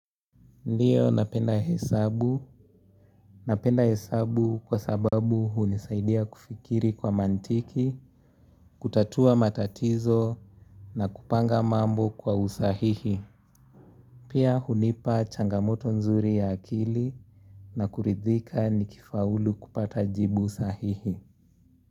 Ndiyo napenda hesabu, napenda hesabu kwa sababu hunisaidia kufikiri kwa mantiki, kutatua matatizo na kupanga mambo kwa usahihi. Pia hunipa changamoto nzuri ya akili na kuridhika nikifaulu kupata jibu sahihi.